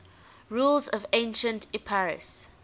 rulers of ancient epirus